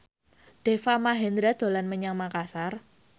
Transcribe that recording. Deva Mahendra dolan menyang Makasar